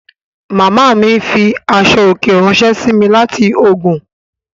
Màmá ma fi aṣọ òkè ráńṣẹ́ sí mi láti Ògùn